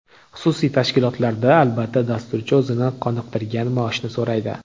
Xususiy tashkilotlarda, albatta, dasturchi o‘zini qoniqtirgan maoshni so‘raydi.